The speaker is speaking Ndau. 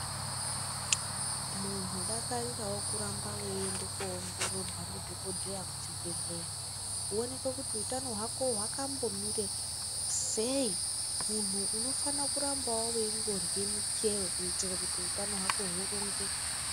Munhu dakarirawo kuramba weiende koongororwa ndidhokodheya kuchibhehleya woonekwe kuti utano hwako hwambomira sei munhu unofane kurambawo weindorye michero kuite kuti utano hwako hurongeke.